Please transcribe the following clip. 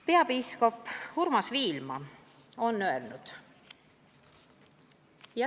Peapiiskop Urmas Viilma on öelnud: "...